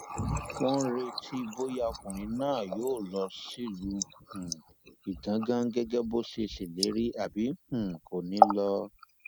wọn ń retí bóyá ọkùnrin náà yóò lọ sílùú um igangan gẹgẹ bó ṣe ṣèlérí àbí um kò ní í lọ